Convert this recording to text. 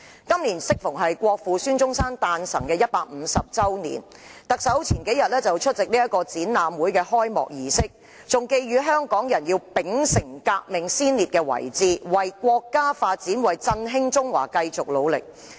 今年適逢國父孫中山誕辰150周年，特首數天前出席展覽會的開幕儀式，還寄語香港人要秉承革命先烈的遺志，為國家發展、振興中華繼續努力。